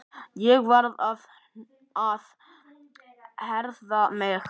Ég varð að herða mig.